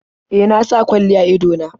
E, na sa kwalli a ido na.